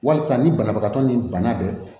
Wasa ni banabagatɔ ni bana bɛ